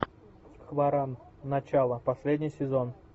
хваран начало последний сезон